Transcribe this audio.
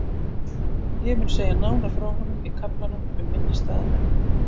Ég mun segja nánar frá honum í kaflanum um minnisstæða menn.